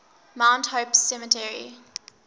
mount hope cemetery